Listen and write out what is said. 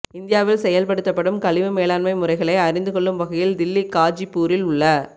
இந்தியாவில் செயல்படுத்தப்படும் கழிவு மேலாண்மை முறைகளை அறிந்துகொள்ளும் வகையில் தில்லி காஜிப்பூரில் உள்ள